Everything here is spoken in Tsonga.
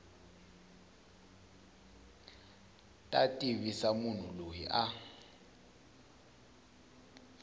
ta tivisa munhu loyi a